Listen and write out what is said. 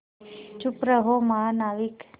चुप रहो महानाविक